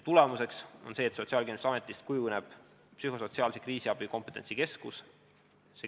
Tulemuseks on see, et Sotsiaalkindlustusametist kujuneb psühhosotsiaalse kriisiabi kompetentsikeskus.